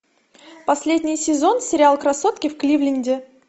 последний сезон сериал красотки в кливленде